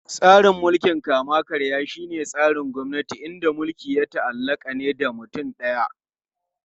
Tsarin mulkin kama-karya shine tsarin gwamnati inda mulki ya ta'allaka ne da mutum daya.